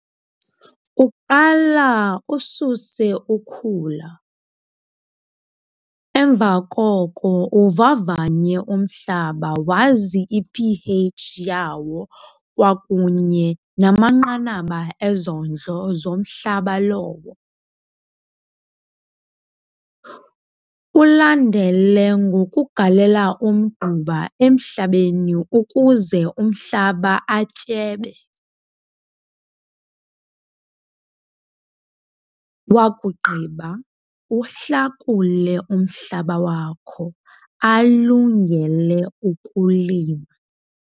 Kuqala ususe ukhula, emva koko uvavanye umhlaba wazi i-P_H yawo kwakunye namanqanaba ezondlo zomhlaba lowo. Ulandele ngokugalela umgquba emhlabeni ukuze umhlaba atyebe wakugqiba uhlakule umhlaba wakho alungele ukulima.